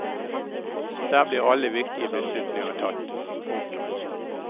Der blir alle viktige beslutninger tatt. punktum